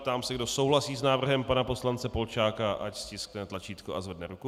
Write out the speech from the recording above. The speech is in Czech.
Ptám se, kdo souhlasí s návrhem pana poslance Polčáka, ať stiskne tlačítko a zvedne ruku.